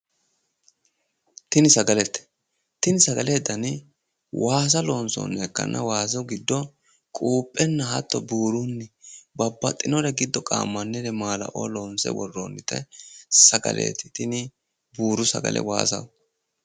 Tini sagalete. Tini sagalete dani waasa loonsoonniha ikkanna. Waasu giddo quuphenna hatto buurunni babbaxxinore giddo qaammannire maalaoo loonse worroonnite sagaleeti tini buuru sagale waasaho.